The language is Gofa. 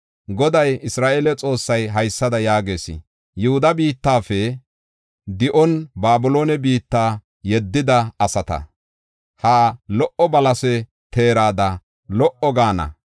Goday Isra7eele Xoossay haysada yaagees: “Yihuda biittafe di7on Babiloone biitta yeddida asata, ha lo77o balase teerada lo77o gaana.